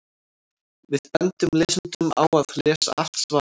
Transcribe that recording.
Við bendum lesendum á að lesa allt svarið.